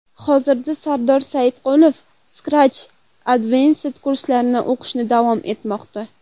Hozirda Sardor Sodiqov Scratch Advanced kurslarida o‘qishini davom ettirmoqda.